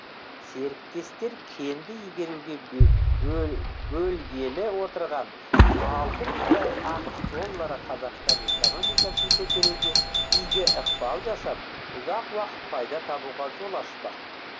серіктестер кенді игеруге бөлгелі отырған алты миллиард ақш доллары қазақстан экономикасын көтеруге игі ықпал жасап ұзақ уақыт пайда табуға жол ашпақ